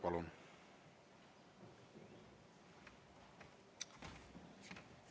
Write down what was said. Palun!